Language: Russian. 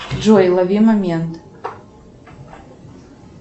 джой лови момент